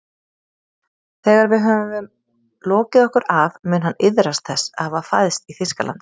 Þegar við höfum lokið okkur af mun hann iðrast þess að hafa fæðst í Þýskalandi